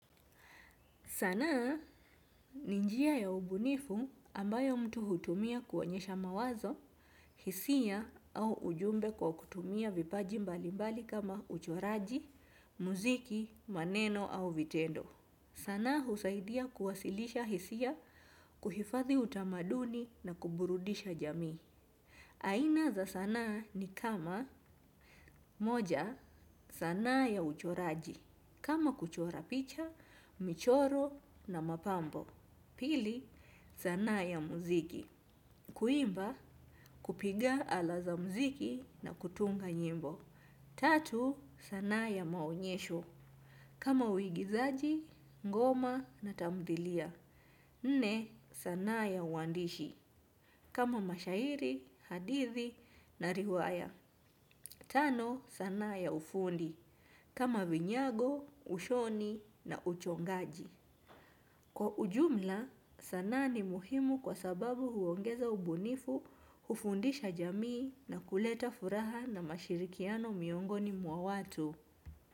Sanaa ninjia ya ubunifu ambayo mtu hutumia kuonyesha mawazo, hisia au ujumbe kwa kutumia vipaji mbali mbali kama uchoraji, muziki, maneno au vitendo. Sanaa husaidia kuwasilisha hisia kuhifadhi utamaduni na kuburudisha jamii. Aina za sanaa ni kama moja sanaa ya uchoraji. Kama kuchora picha, michoro na mapambo. Pili sanaa ya muziki. Kuimba kupiga alaza muziki na kutunga nyimbo. Tatu, sanaa ya maonyesho. Kama uigizaji, ngoma na tamdhilia. Nne, sanaa ya uandishi. Kama mashairi, hadithi na riwaya. Tano, sana ya ufundi. Kama vinyago, ushoni na uchongaji. Kwa ujumla, sanaa ni muhimu kwa sababu huongeza ubunifu, hufundisha jamii na kuleta furaha na mashirikiano miongoni mwa watu.